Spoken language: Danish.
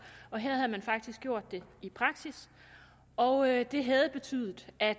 og her havde man faktisk gjort det i praksis og det havde betydet at